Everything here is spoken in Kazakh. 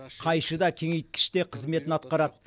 қайшы да кеңейткіш де қызметін атқарады